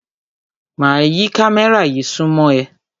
Máa yí kámẹ́rà yí súnmọ́ ẹ.